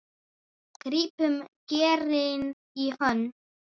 grípum geirinn í hönd